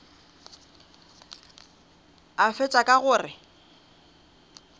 a fetša ka go re